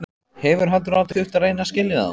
Hefur heldur aldrei þurft að reyna að skilja þá.